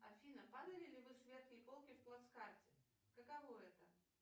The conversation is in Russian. афина падали ли вы с верхней полки в плацкарте какого это